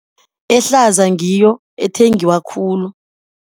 Ehlaza ngiyo ethengiwa khulu.